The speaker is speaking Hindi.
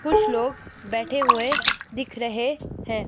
कुछ लोग बैठे हुए दिख रहे हैं।